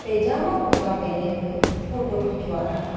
पैजामा कुर्ता पहने हुए फोटो खिंचवा रहा--